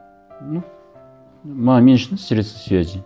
ну мен үшін средство связи